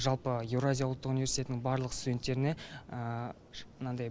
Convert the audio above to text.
жалпы еуразия ұлттық университетінің барлық студенттеріне мынандай